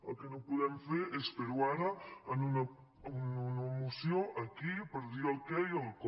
el que no podem fer és fer ho ara en una moció aquí per dir el què i el com